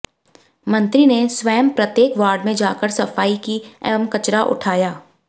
मंत्री ने स्वयं प्रत्येक वार्ड में जाकर सफाई की एवं कचरा उठाया